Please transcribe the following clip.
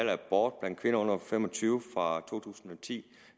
abort blandt kvinder under fem og tyve år fra to tusind og ti